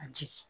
A jigin